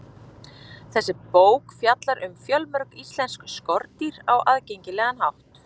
Þessi bók fjallar um fjölmörg íslensk skordýr á aðgengilegan hátt.